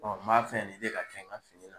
m'a fɛ nin de ka kɛ n ka fini la.